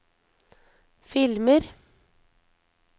filmer